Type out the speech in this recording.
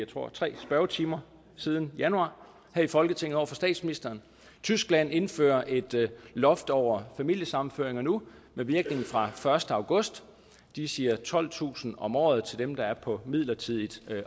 tror tre spørgetimer siden januar her i folketinget over for statsministeren tyskland indfører et loft over familiesammenføringer nu med virkning fra den første august de siger tolvtusind om året af dem der er på midlertidigt